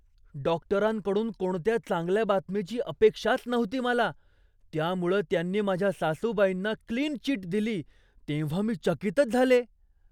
डॉक्टरांकडून कोणत्या चांगल्या बातमीची अपेक्षाच नव्हती मला, त्यामुळं त्यांनी माझ्या सासूबाईंना क्लीन चिट दिली तेव्हा मी चकितच झाले.